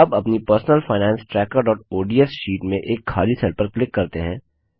अब अपनी personal finance trackerओडीएस शीट में एक खाली सेल पर क्लिक करते हैं